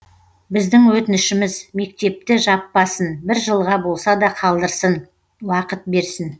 біздің өтінішіміз мектепті жаппасын бір жылға болса да қалдырсын уақыт берсін